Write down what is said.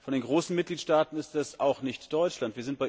Von den großen Mitgliedstaaten ist es auch nicht Deutschland.